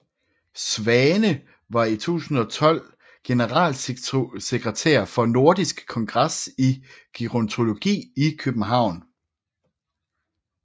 Swane var i 2012 generalsekretær for Nordisk Kongres i Gerontologi i København